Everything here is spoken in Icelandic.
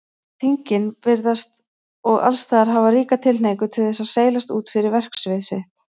Þingin virðast og allsstaðar hafa ríka tilhneigingu til þess að seilast út fyrir verksvið sitt.